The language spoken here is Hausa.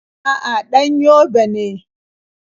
A'a, ɗan Yobe ne.